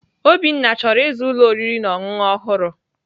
Obinna chọrọ ịzụ ụlọ oriri na ọṅụṅụ ọhụrụ.